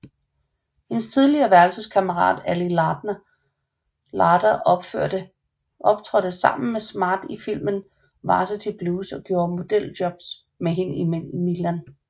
Hendes tidligere værelseskammerat Ali Larter optrådte sammen med Smart i filmen Varsity Blues og gjorde modeljobs med hende i Milan